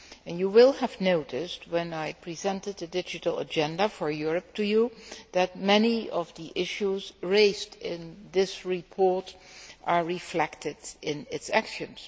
You will have noticed that, when I presented the digital agenda for Europe to you, many of the issues raised in this report are reflected in its actions.